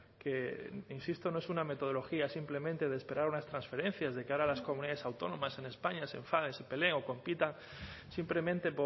que insisto no es una metodología simplemente de esperar unas transferencias de cara a las comunidades autónomas en españa se enfadan y se pelean o compitan simplemente